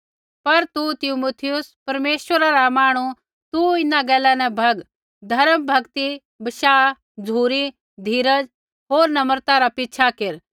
पर तू तिमुथियुस परमेश्वरा रा जन तू इन्हां गैला न भग होर धर्म भक्ति बशाह झ़ुरी धीरज़ होर नम्रता रा पिछ़ा केर